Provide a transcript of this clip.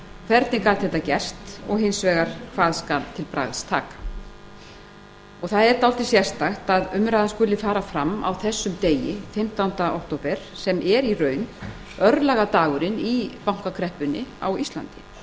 hvernig gat þetta gerst og hins vegar hvað skal til bragðs taka það er dálítið sérstakt að umræðan skuli fara fram á þessum degi fimmtánda október sem er í raun örlagadagurinn í bankakreppunni á íslandi